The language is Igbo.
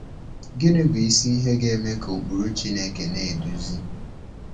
Gịnị bụ isi ihe ga-eme ka ụkpụrụ Chineke na-eduzi?